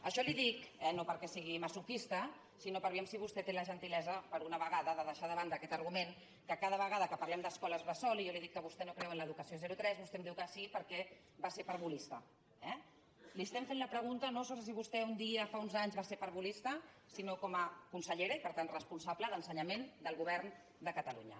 això li ho dic eh no perquè sigui masoquista sinó per veure si vostè té la gentilesa per una vegada de deixar de banda aquest argument que cada vegada que parlem d’escoles bressol i jo li dic que vostè no creu en l’educació zerotres vostè em diu que sí perquè va ser parvulista eh li estem fent la pregunta no sobre si vostè un dia fa uns anys va ser parvulista sinó com a consellera i per tant responsable d’ensenyament del govern de catalunya